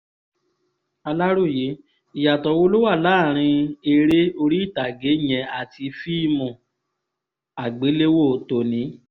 aláròye ìyàtọ̀ wo ló wà láàrin eré orí ìtàgé yẹn àti fíìmù àgbéléwò tòní